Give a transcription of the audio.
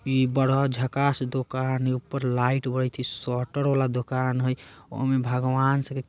इ बड़ा झक्कास दुकान हई ऊपर लाईट बरित हई शटर वाला दुकान हई ओमे भगवान सके --